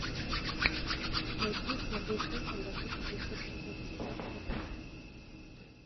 найти смотреть фильм одна тысяча девятьсот восемьдесят четвертого года